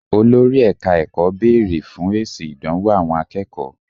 Olórí ẹka ẹ̀kọ́ béèrè fún èsì ìdánwò àwọn akẹ́kọ̀ọ́.